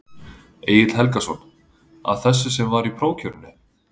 Egill Helgason: Af þessu sem var í prófkjörinu?